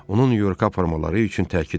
Onu Nyu-Yorka aparmaları üçün təkid elədi.